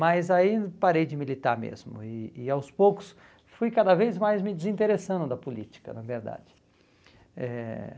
Mas aí parei de militar mesmo, e e aos poucos fui cada vez mais me desinteressando da política, na verdade. Eh